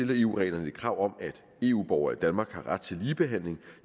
der i eu reglerne et krav om at eu borgere i danmark har ret til ligebehandling